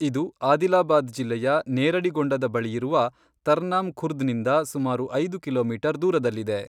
ಇದು ಆದಿಲಾಬಾದ್ ಜಿಲ್ಲೆಯ ನೇರಡಿಗೊಂಡದ ಬಳಿಯಿರುವ ತರ್ನಾಮ್ ಖುರ್ದ್ನಿಂದ ಸುಮಾರು ಐದು ಕಿಲೋಮೀಟರ್ ದೂರದಲ್ಲಿದೆ.